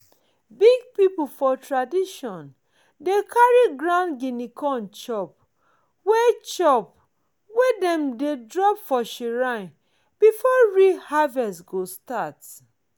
big people for tradition dey carry ground guinea corn chop wey chop wey dem drop for shrine before real harvest go start.